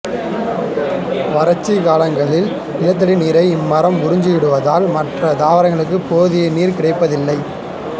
வறட்சி காலங்களில் நிலத்தடி நீரை இம்மரம் உறிஞ்சிவிடுவதால் மற்ற தாவரங்களுக்கு போதிய நீர் கிடைப்பதில்லை